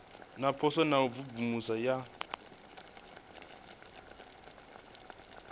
zwipotso na u imvumvusa ya